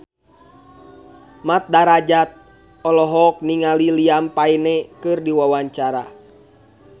Mat Drajat olohok ningali Liam Payne keur diwawancara